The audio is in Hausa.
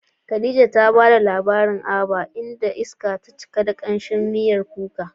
Khadija ta bada labarin Aba, inda iska ta cika da kamshin miyar kuka.